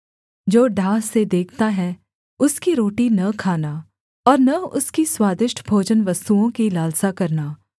जो डाह से देखता है उसकी रोटी न खाना और न उसकी स्वादिष्ट भोजनवस्तुओं की लालसा करना